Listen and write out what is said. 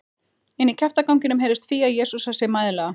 Inní kjaftaganginum heyrðist Fía jesúsa sig mæðulega.